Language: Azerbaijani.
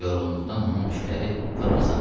Yorğunluqdan onun tükləri pırpızlanmışdı.